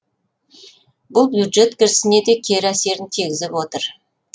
бұл бюджет кірісіне де кері әсерін тигізіп отыр